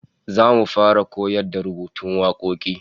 Zamu fara koyar da rubutattun wakoki